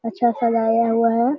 अच्छा सजाया हुआ है।